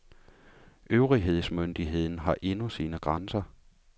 Øvrighedsmyndigheden har endnu sine grænser.